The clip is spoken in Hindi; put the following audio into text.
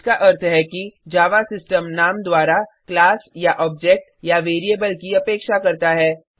इसका अर्थ है कि जावा सिस्टम नाम द्वारा क्लास या ऑब्जेक्ट या वेरिएबल की अपेक्षा करता है